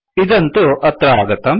इदं तु अत्र आगतम्